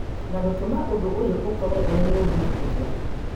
na gũtũma ũndũ ũyũ ũkorwo ũrĩ mũru makĩria